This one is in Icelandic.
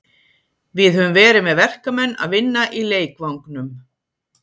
Við höfum verið með verkamenn að vinna í leikvangnum.